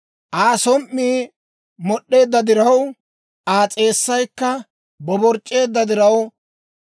«Aa som"ii mod'd'eedda diraw, Aa s'eessaykka boborc'c'eedda diraw,